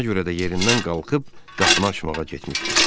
Ona görə də yerindən qalxıb qapını açmağa getmişdi.